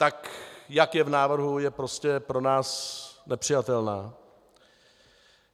Tak jak je v návrhu, je prostě pro nás nepřijatelná.